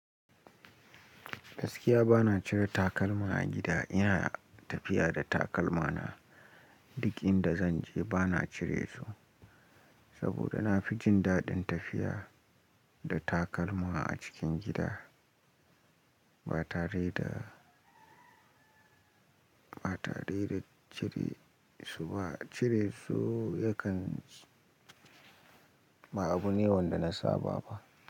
Gaskiya ba na cire takalma a gida, ina tafiya da takalma na duk inda zan je. Ba na cire su saboda na fi jin daɗin tafiya da takalma a cikin gida ba tare da, ba tare da cire su ba. Cire su yakan ba abu ne wanda na saba ba.